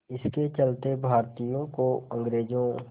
इसके चलते भारतीयों को अंग्रेज़ों